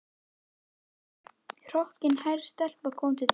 Lítil hrokkinhærð stelpa kom til dyra.